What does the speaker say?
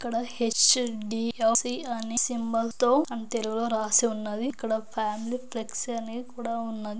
ఇక్కడ హెచ్.డి.ఎఫ్.సి. అని సింబల్ తో అని తెలుగులో రాసి ఉన్నది. ఇక్కడ ప్యాన్ ఫ్లెక్సీ అని కూడా ఉన్నది.